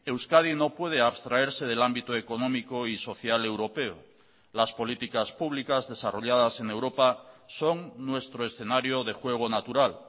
euskadi no puede abstraerse del ámbito económico y social europeo las políticas públicas desarrolladas en europa son nuestro escenario de juego natural